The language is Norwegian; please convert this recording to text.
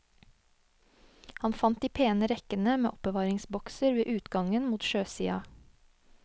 Han fant de pene rekkene med oppbevaringsbokser ved utgangen mot sjøsida.